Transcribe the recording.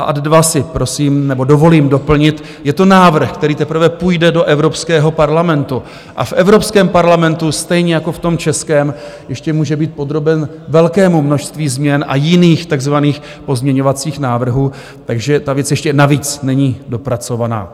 A ad dva si prosím nebo dovolím doplnit, je to návrh, který teprve půjde do Evropského parlamentu, a v Evropském parlamentu stejně jako v tom českém ještě může být podroben velkému množství změn a jiných takzvaných pozměňovacích návrhů, takže ta věc ještě navíc není dopracovaná.